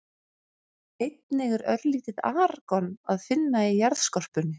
Einnig er örlítið argon að finna í jarðskorpunni.